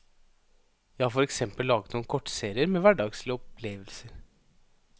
Jeg har for eksempel laget noen kortserier med hverdagslige opplevelser.